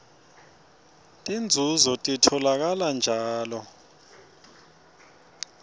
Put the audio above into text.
tinzunzo titfolakala njalo